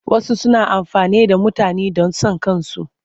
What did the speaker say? Wasu suna amfani da mutane don son kansu.